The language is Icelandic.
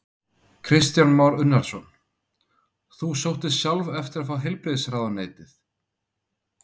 Kristján Már Unnarsson: Þú sóttist sjálf eftir að fá heilbrigðisráðuneytið?